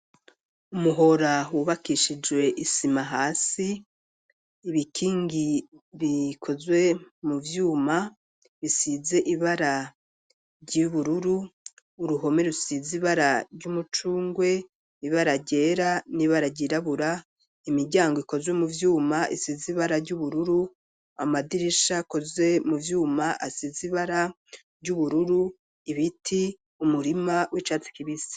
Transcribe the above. Umuhora wubakishijwe isima hasi ,ibikingi bikozwe mu vyuma, bisize ibara ry'ibururu, uruhome rusize ibara ry'umucungwe ,ibara ryera ,n'ibara ryirabura ,imiryango ikozwe mu vyuma, isize ibara ry'ubururu, amadirisha akozwe mu vyuma, asize ibara ry'ubururu ,ibiti ,umurima w'icatsi kibise.